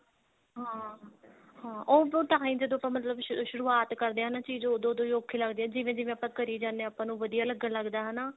ਹਾਂ ਉੱਦੋ time ਜਦੋਂ ਤੋਂ ਮਤਲਬ ਸ਼ੁਰੁਵਾਤ ਕਰਦੇ ਹਾਂ ਨਾ ਚੀਜ ਉਦੋਂ ਉਦੋਂ ਹੀ ਔਖੀ ਲੱਗਦੀ ਹੈ ਜਿਵੇਂ ਜਿਵੇਂ ਆਪਾਂ ਕਰੀ ਜਾਂਦੇ ਹਾਂ ਆਪਾਂ ਨੂੰ ਵਧੀਆ ਲੱਗਣ ਲੱਗਦਾ ਹਨਾ